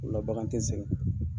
O la bagan tɛ sɛgɛn